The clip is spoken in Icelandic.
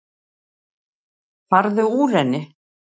Farðu úr henni.